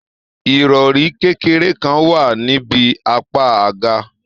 Irọri kékeré kàn wá nibi apá àga.